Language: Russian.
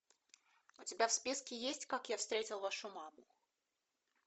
у тебя в списке есть как я встретил вашу маму